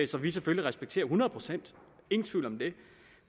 som vi selvfølgelig respekterer hundrede procent ingen tvivl om det